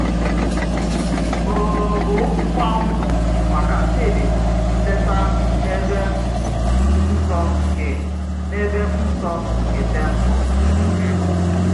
Ọ̀gù̀ gbaǹgwù m̀àkà Chídì bụ ǹlèta n’èbè nsọ̀ kè n’èbè nsọ̀ kè temple.